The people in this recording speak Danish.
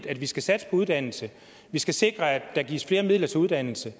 at vi skal satse på uddannelse at vi skal sikre at der gives flere midler til uddannelse